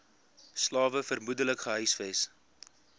slawe vermoedelik gehuisves